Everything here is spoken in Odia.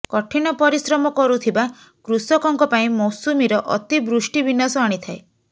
କଠିନ ପରିଶ୍ରମ କରୁଥିବା କୃଷକଙ୍କ ପାଇଁ ମୌସୁମିର ଅତି ବୃଷ୍ଟି ବିନାସ ଆଣିଥାଏ